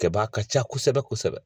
Kɛ ba ka ca kosɛbɛ kosɛbɛ.